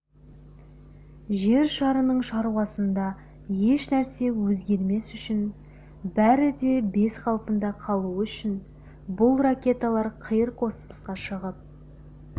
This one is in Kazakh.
жер шарының шаруасында еш нәрсе өзгермес үшін бәрі де бәз қалпында қалуы үшін бұл ракеталар қиыр космосқа шығып